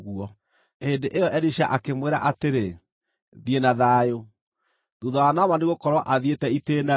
Hĩndĩ ĩyo Elisha akĩmwĩra atĩrĩ, “Thiĩ na thayũ.” Thuutha wa Naamani gũkorwo athiĩte itĩĩna-rĩ,